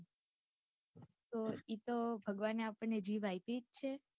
તો ઇતો ભગવાને આપણે જીભ આપીજ છે.